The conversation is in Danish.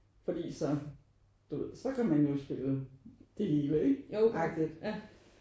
Fordi så du ved så kan man jo spille det hele ikke? Agtigt